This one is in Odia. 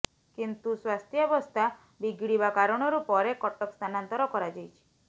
କିନ୍ତୁ ସ୍ବାସ୍ଥ୍ୟାବସ୍ଥା ବିଗିଡିବା କାରଣରୁ ପରେ କଟକ ସ୍ଥାନାନ୍ତର କରାଯାଇଛି